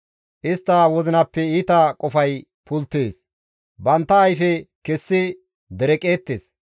Istta wozinappe iita qofay pulttees; bantta ayfe kessi dereqeettes.